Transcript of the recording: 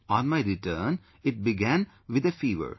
On my return it began with a fever